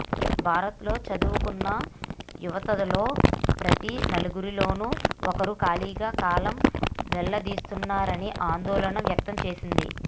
భారత్లో చదువుకున్న యువతలో ప్రతి నలుగురిలోనూ ఒకరు ఖాళీగా కాలం వెల్లదీస్తున్నారనే ఆందోళన వ్యక్తం చేసింది